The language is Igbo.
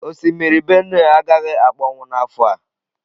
Osimiri Benue agaghị akpọnwụ n'afọ a.